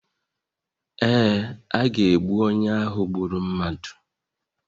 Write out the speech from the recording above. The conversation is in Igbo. Ee, a ga-egbu onye ahụ gburu mmadụ